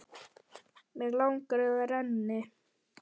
Mig langar að það renni.